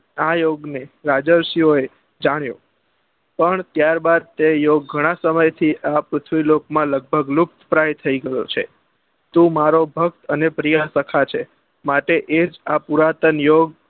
આ યોગ ને રાજા શીયો ને જાણ્યો પણ ત્યાર બાદ તે યોગ ગણા સમય થી આ પૃથ્વી લોક પર લગભગ લુપ્તપ્રાય થઇ ગયો છે તું મારો ભક્ત અને પ્રીયાસ્ખા છે માટે એ જ આ પુરાતન યોગ